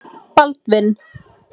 Baldvin